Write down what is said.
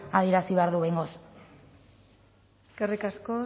adierazi behar du behingoz eskerrik asko